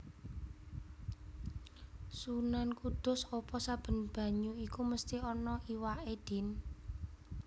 Sunan Kudus Apa saben banyu iku mesti ana iwaké Din